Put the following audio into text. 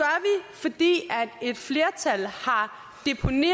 fordi et flertal